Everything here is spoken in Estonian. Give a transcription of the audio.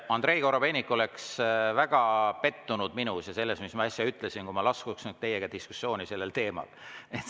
Andrei Korobeinik oleks väga pettunud minus ja selles, mis ma äsja ütlesin, kui ma laskuksin teiega sellel teemal diskussiooni.